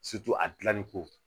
a gilanni ko